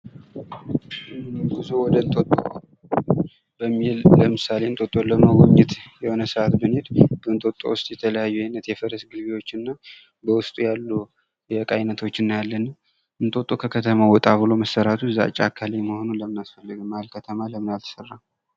ጉዞ ወደ እንጦጦ በሚል ለምሳሌ እንጦጦን ለመጎብኘት የሆነ ሰዓት ብንሄድ እንጦጦ ውስጥ የተለያዩ አይነት የፈረስ ግልቢያ እና በውስጡ ያሉ የ እቃ ዓይነቶችን እናያለን። እንጦጦ ከከተማው ወጣ ብሎ መሠረቱ እዛ ጫካ ላይ መሆኑ ለምን አስፈለገ ?መሀል ከተማ ለምን አልተሰራም?